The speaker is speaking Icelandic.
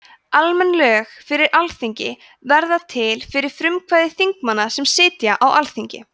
almenn lög frá alþingi verða til fyrir frumkvæði þingmanna sem sitja á þingi